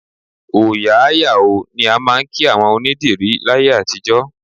Òòyà á yà ó ni a máa ń kí àwọn onîdìrí láyé àtijọ́